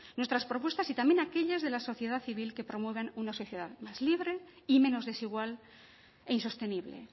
nuestras propuestas y también aquellas de la sociedad civil que promueven una sociedad más libre y menos desigual e insostenible